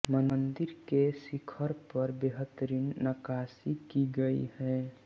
मंदिर के शिखर पर बेहतरीन नक्काशी की गई है